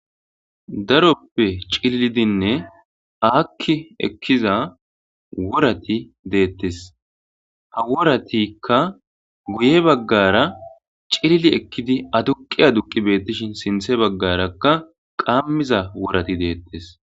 Daroppe c'ililidinne akki ekiza worati ha woratika guye bagara c'ilili ekkidi aduqi aduqi ekishin sinthe bagaraka qamiza worati de'etes.